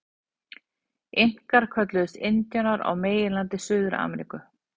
Inkar kölluðust indíánar á meginlandi Suður-Ameríku.